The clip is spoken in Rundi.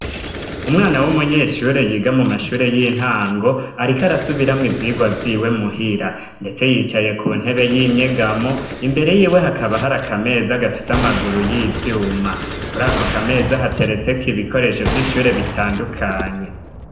Umwana w'umunyeshure yiga mu mashure y'intango, ariko arasubiramwo ivyigwa vyiwe mu hira. Ndetse yicaye ku ntebe y'inyegamo imbere yiwe hakaba hari akameza gafise amaguru y'ivyuma. Kuri ako kameza hateretseko ibikoresho vy'ishure bitandukanye.